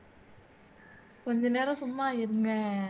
கொஞ்சநேரம் சும்மா இருங்க